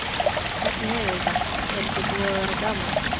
Hvernig hefurðu það, er ekki búið að vera gaman?